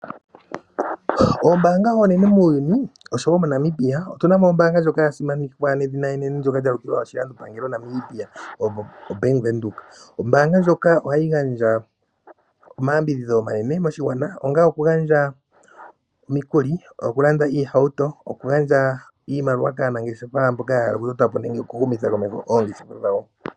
Oombanga onene muuyuni oshowo moNamibia. Otu na mo ombanga ndjoka yasimanekwa nedhina enene ndjoka lyalukilwa oshilando pangelo Namibia oBank Windhoek. Ombanga ndjoka ohayi gandja omayambidhidho omanene moshigwana onga oku gandja omikuli, oku landa iihawuto, okugandja iimaliwa kaanangeshefa mboka ya hala okutota po nenge oku humitha komeho ongeshefa dhawo.